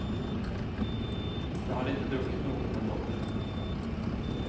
Jag hade inte druckit något den dagen. punkt